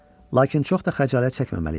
Lakin çox da xəcalət çəkməməli idi.